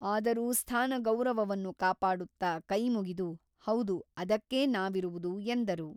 ಆದರೂ ಸ್ಥಾನಗೌರವವನ್ನು ಕಾಪಾಡುತ್ತ ಕೈಮುಗಿದು ಹೌದು ಅದಕ್ಕೇ ನಾವಿರುವುದು ಎಂದರು.